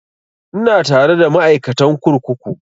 Ina tare da ma'aikatan kurkuku